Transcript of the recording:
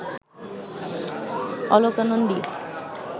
Aloka Nandi